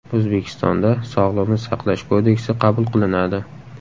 O‘zbekistonda Sog‘liqni saqlash kodeksi qabul qilinadi.